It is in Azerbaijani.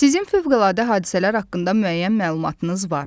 Sizin fövqəladə hadisələr haqqında müəyyən məlumatınız var.